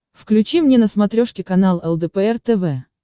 включи мне на смотрешке канал лдпр тв